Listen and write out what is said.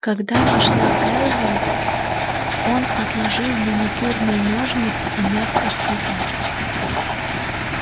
когда вошла кэлвин он отложил маникюрные ножницы и мягко сказал